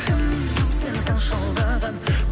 кім сені сонша алдаған